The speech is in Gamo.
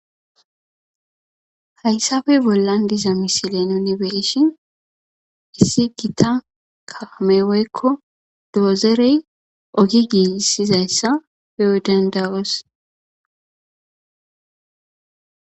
Hayssafey bollan diza misilen yunibeshin issi gita kaameweekko doozerey ogi giissizayssa peo dandawoos.